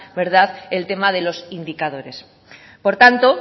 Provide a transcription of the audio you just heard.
el tema de los indicadores por tanto